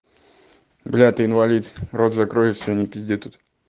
бля ты инвалид рот закрой и всё не пизди тут